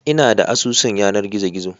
Ina da asusun yanar gizo gizo